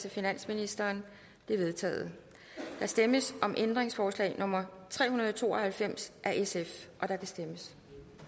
af finansministeren de er vedtaget der stemmes om ændringsforslag nummer tre hundrede og to og halvfems af sf og der kan stemmes